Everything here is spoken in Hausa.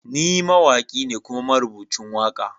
Ni mawaki ne kuma marubucin waka.